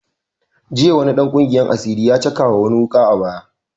Jiya wani dan ƙungiyar asiri ya cakawa wani wuƙa a baya